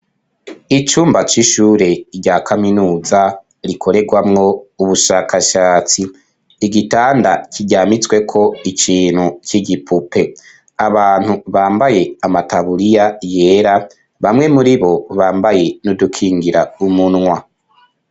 icumba c'ishure rya kaminuza rikoregwamwo ubushakashatsi igitanda kijyamitswe ko ikintu cy'igipupe abantu bambaye amatabuliya yera bamwe muri bo bambaye n'udukingira umunwa